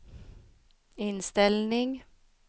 inställning